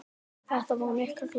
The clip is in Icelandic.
Þetta voru miklir gæjar.